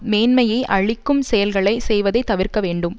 மேன்மையை அழிக்கும் செயல்களை செய்வதை தவிர்க்க வேண்டும்